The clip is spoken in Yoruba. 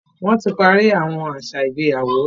Wọ́n ti parí àwọn àṣà ìgbéyàwó.